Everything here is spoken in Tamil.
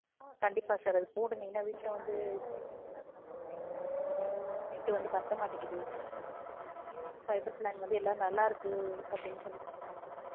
கண்டிப்பா sir அத போடுங்க இல்ல வீட்டுல வந்து children லாம் இருக்காங்க online class mobile ல போடுற net வந்து பத்த மாடங்குது so ஜியோ fiberplan வந்து நல்லா இருக்குன்னு அப்டி சொல்லி சொல்றாங்க